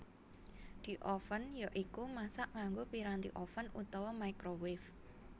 Dioven ya iku masak nganggo piranti oven utawa microwave